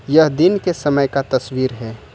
यह दिन के समय का तस्वीर है।